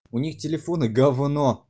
у них телефоны гавно